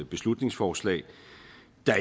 beslutningsforslag